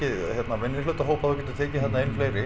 minnihlutahópa þú getur tekið þarna inn fleiri